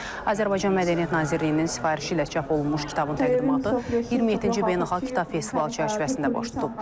Azərbaycan Mədəniyyət Nazirliyinin sifarişi ilə çap olunmuş kitabın təqdimatı 27-ci beynəlxalq kitab festivalı çərçivəsində baş tutub.